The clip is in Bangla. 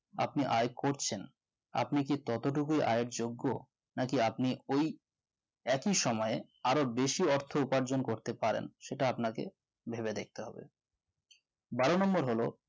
আপনি আয় করছেন আপনি কি ততটুকু আয়ের যোগ্য নাকি আপনি ওই একই সময়ে আরো বেশি অর্থ উপার্জন করতে পারেন সেটা আপনাকে ভেবে দেখতে হবে বারো number হল